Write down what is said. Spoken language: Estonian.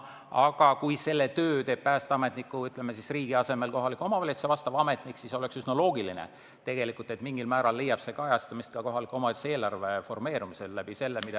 Aga kui selle töö teeb päästeametniku või, ütleme, riigi asemel kohaliku omavalitsuse ametnik, siis oleks üsna loogiline, et see mingil määral leiab kajastamist kohaliku omavalitsuse eelarve formeerumisel.